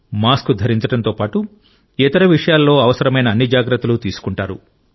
mask ధరించడంతో పాటు ఇతర విషయాలలో అవసరమైన అన్ని జాగ్రత్తలు తీసుకుంటారు